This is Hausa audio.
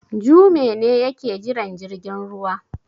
Jume ne yake jiran jirgin ruwa.